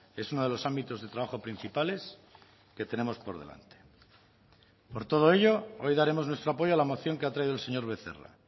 es uno de los ámbitos de trabajo principales que tenemos por delante por todo ello hoy daremos nuestro apoyo a la moción que ha traído el señor becerra